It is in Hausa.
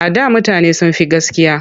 A da mutane sun fi gaskiya.